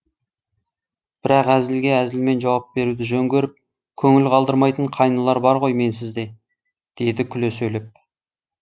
бірақ әзілге әзілмен жауап беруді жөн көріп көңіл қалдырмайтын қайнылар бар ғой менсіз де деді күле сөйлеп